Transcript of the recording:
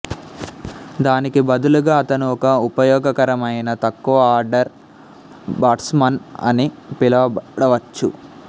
దానికి బదులుగా అతను ఒక ఉపయోగకరము అయిన తక్కువ ఆర్డర్ బాట్స్మాన్ అని పిలవబడవచ్చు